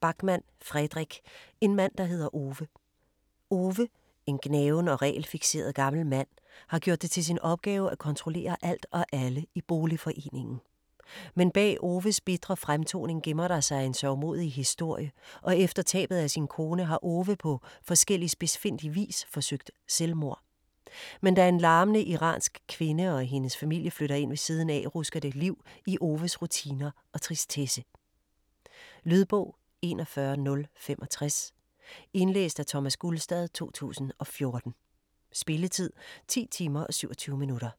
Backman, Fredrik: En mand der hedder Ove Ove, en gnaven og regelfikseret gammel mand, har gjort det til sin opgave at kontrollere alt og alle i boligforeningen. Men bag Oves bitre fremtoning gemmer der sig en sørgmodig historie og efter tabet af sin kone har Ove på forskellig spidsfindig vis forsøgt selvmord. Men da en larmende iransk kvinde og hendes familie flytter ind ved siden af, rusker det liv i Oves rutiner og tristesse. Lydbog 41065 Indlæst af Thomas Gulstad, 2014. Spilletid: 10 timer, 27 minutter.